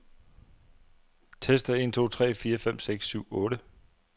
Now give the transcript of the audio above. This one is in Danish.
Tester en to tre fire fem seks syv otte.